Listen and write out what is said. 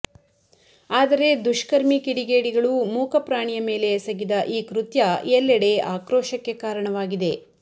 ಆದರೇ ದುಷ್ಕರ್ಮಿ ಕಿಡಿಗೇಡಿಗಳು ಮೂಕ ಪ್ರಾಣಿಯ ಮೇಲೆ ಎಸಗಿದ ಈ ಕೃತ್ಯ ಎಲ್ಲೆಡೆ ಆಕ್ರೋಷಕ್ಕೆ ಕಾರಣವಾಗಿದೆ